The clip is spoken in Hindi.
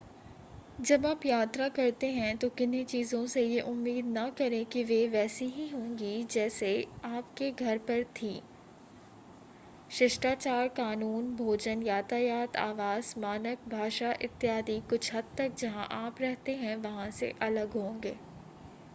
जब आप यात्रा करते हैं तो किन्ही चीजों से ये उम्मीद न करें कि वे वैसी ही होंगी जैसी आपके घर पर थी हैं शिष्टाचार कानून भोजन यातायात आवास मानक भाषा इत्यादि कुछ हद तक जहां आप रहते हैं वहां से अलग होंगे